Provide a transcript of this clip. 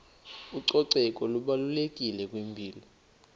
ucoceko lubalulekile kwimpilo